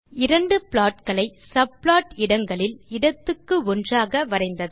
இரண்டு ப்ளாட் களை சப்ளாட் இடங்களில் இடத்திற்கு ஒன்றாக வரைந்தது